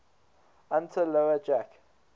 unter lower jack